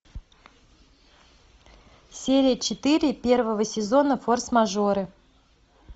серия четыре первого сезона форс мажоры